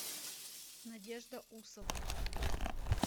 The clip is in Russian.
надежда усова